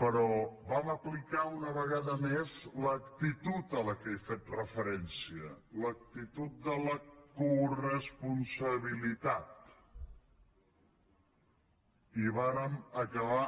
però vam aplicar una vegada més l’actitud a què he fet referència l’actitud de la coresponsabilitat i vàrem acabar